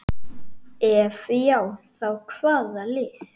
Ef já þá hvaða lið?